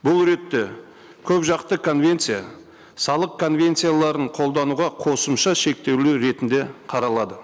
бұл ретте көпжақты конвенция салық конвенцияларын қолдануға қосымша шектеулер ретінде қаралады